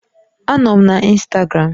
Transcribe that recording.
Anọ m na Instagram